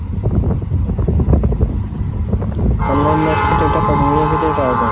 online marksheet ওইটা কতদিনের ভিতর পাওয়া যাই?